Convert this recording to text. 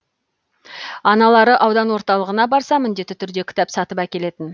аналары аудан орталығына барса міндетті түрде кітап сатып әкелетін